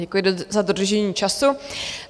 Děkuji za dodržení času.